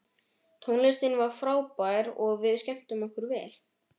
Tónlistin var frábær og við skemmtum okkur vel.